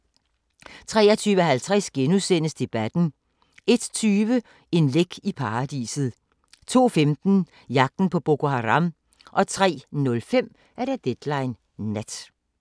23:50: Debatten * 01:20: En læk i Paradiset 02:15: Jagten på Boko Haram 03:05: Deadline Nat